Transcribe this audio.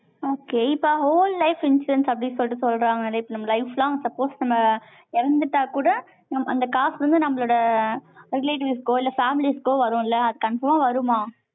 okay இப்ப whole life instance அப்படின்னு சொல்லிட்டு, சொல்றாங்க. நம்ம life long, suppose நம்ம, இறந்துட்டா கூட, அந்த காசு வந்து, நம்மளோட, relatives க்கோ, இல்லை families க்கோ, வரும் இல்லை? அது conform ஆ வருமா?